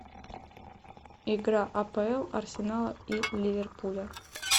игра апл арсенала и ливерпуля